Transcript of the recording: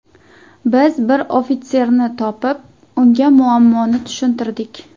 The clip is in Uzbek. Biz bir ofitserni topib, unga muammoni tushuntirdik.